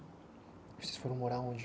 Vocês foram morar onde?